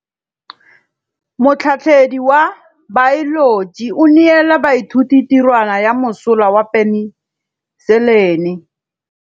Motlhatlhaledi wa baeloji o neela baithuti tirwana ya mosola wa peniselene.